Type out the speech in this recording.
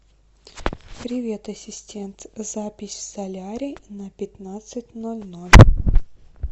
привет ассистент запись в солярий на пятнадцать ноль ноль